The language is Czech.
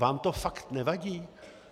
Vám to fakt nevadí?